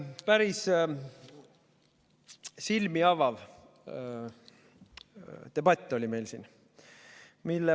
Päris silmi avav debatt oli meil siin.